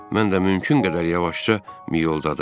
Mən də mümkün qədər yavaşca miyoldadım.